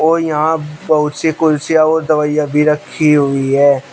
कोई यहां बहुत सी कुर्सियां और दवाइयां भी रखी हुई है।